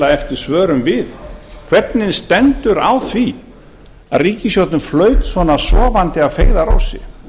eftir svörum við hvernig stendur á að ríkisstjórnin flaut svona sofandi að feigðarósi